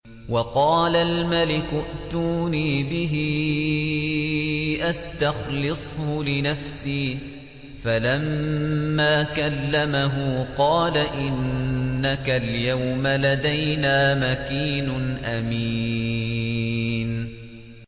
وَقَالَ الْمَلِكُ ائْتُونِي بِهِ أَسْتَخْلِصْهُ لِنَفْسِي ۖ فَلَمَّا كَلَّمَهُ قَالَ إِنَّكَ الْيَوْمَ لَدَيْنَا مَكِينٌ أَمِينٌ